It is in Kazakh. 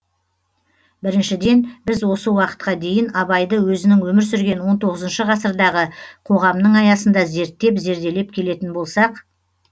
біріншіден біз осы уақытқа дейін абайды өзінің өмір сүрген он тоғызыншы ғасырдағы қоғамның аясында зерттеп зерделеп келетін болсақ